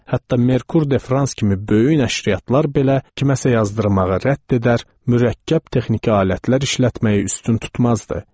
Hətta Merkur de Frans kimi böyük nəşriyyatlar belə kiməsə yazdırmağa rədd edər, mürəkkəb texniki alətlər işlətməyi üstün tutmazdı.